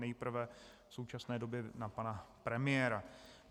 Nejprve v současné době na pana premiéra.